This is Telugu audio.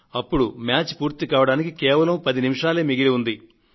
అప్పుడు మ్యాచ్ పూర్తి కావడానికి ఇంకా పది నిమిషాలే మిగిలి ఉంది